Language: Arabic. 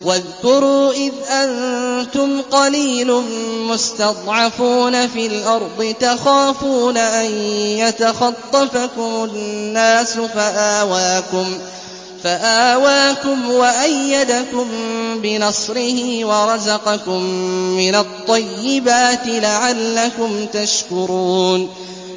وَاذْكُرُوا إِذْ أَنتُمْ قَلِيلٌ مُّسْتَضْعَفُونَ فِي الْأَرْضِ تَخَافُونَ أَن يَتَخَطَّفَكُمُ النَّاسُ فَآوَاكُمْ وَأَيَّدَكُم بِنَصْرِهِ وَرَزَقَكُم مِّنَ الطَّيِّبَاتِ لَعَلَّكُمْ تَشْكُرُونَ